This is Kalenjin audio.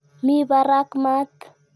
Mi parak mat.